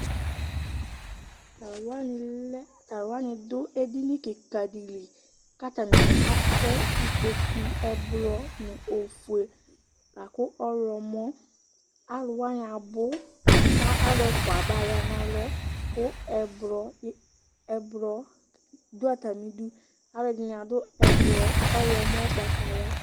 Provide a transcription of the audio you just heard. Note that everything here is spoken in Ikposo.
Tʋ alʋ wanɩ lɛ, tʋ alʋ wanɩ dʋ edini kɩka dɩ li kʋ atanɩ atɛ ikpoku, ɛblɔ nʋ ofue, la kʋ ɔɣlɔmɔ Alʋ wanɩ abʋ kʋ alʋ ɛfʋa abaya nʋ alɔ kʋ ɛblɔ, ɛblɔ dʋ atamɩdu Alʋɛdɩnɩ adʋ ɛblɔ ɔɣlɔmɔ ʋgbatawla